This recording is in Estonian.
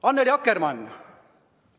Annely Akkermann!